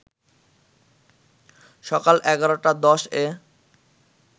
সকাল ১১.১০ এ